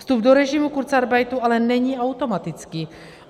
Vstup do režimu kurzarbeitu ale není automatický.